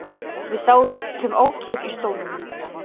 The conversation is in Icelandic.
Við sátum ókyrr á stólunum.